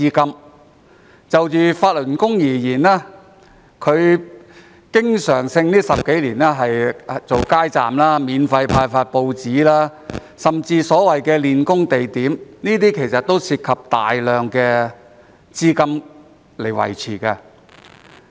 近10多年來，法輪功經常舉辦街站、免費派發報紙，甚至有所謂的練功地點，這些都涉及大量資金。